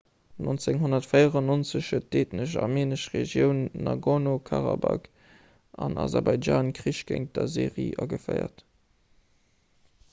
1994 huet d'eethnesch armeenesch regioun nagorno-karabakh an aserbaidjan krich géint d'aserie geféiert